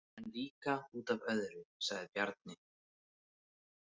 En líka út af öðru, sagði Bjarni.